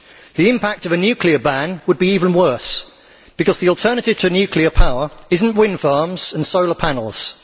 The impact of a nuclear ban would be even worse because the alternative to nuclear power is not wind farms and solar panels.